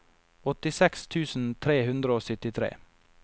åttiseks tusen tre hundre og syttitre